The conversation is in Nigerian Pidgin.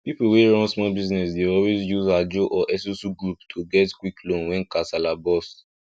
people wey run small business dey always use ajo or esusu group to get quick loan when kasala burst